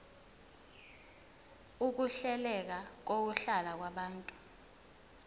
ukuhleleka kokuhlala kwabantu